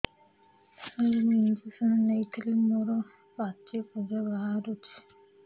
ସାର ମୁଁ ଇଂଜେକସନ ନେଇଥିଲି ମୋରୋ ପାଚି ପୂଜ ବାହାରୁଚି